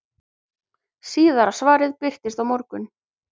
Síðara svarið birtist á morgun.